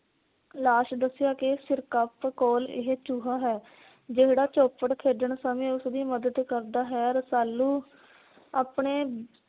ਲਾਸ਼ ਦੱਸਿਆ ਕਿ ਸਿਰਕਪ ਕੋਲ ਇਹ ਚੂਹਾ ਹੈ। ਜਿਹੜਾ ਚੋਪੜ ਖੇਡਣ ਸਮੇਂ ਉਸ ਦੀ ਮਦਦ ਕਰ ਦਾ ਹੈ। ਰਸਾਲੂ ਆਪਣੇ